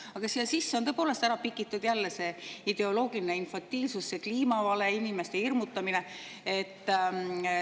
Aga siia sisse on tõepoolest pikitud jälle see ideoloogiline infantiilsus, see kliimavale, inimeste hirmutamine.